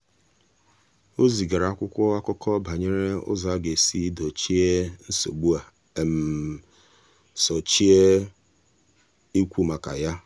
o zigara akwụkwọ akụkọ banyere ụzọ a ga-esi dozie nsogbu um a sochie ikwu maka ya.